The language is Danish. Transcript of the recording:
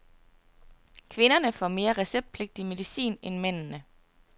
Kvinderne får mere receptpligtig medicin end mændene.